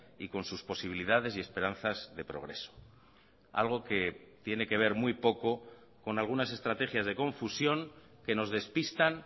y con sus posibilidades y esperanzas de progreso algo que tiene que ver muy poco con algunas estrategias de confusión que nos despistan